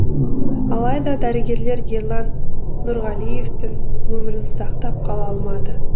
алайда дәрігерлер ерлан нұрғалиевтің өмірін сақтап қала алмады